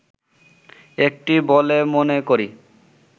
একটি বলে মনে করি